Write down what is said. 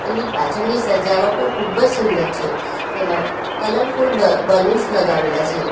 ને પાછળની સજાવટ પણ ખૂબ જ સુંદર છે તેમાં કલરફુલ બ બ્લુન્સ લગાવેલા છે.